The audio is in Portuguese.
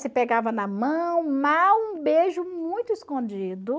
Se pegava na mão, mal, um beijo muito escondido.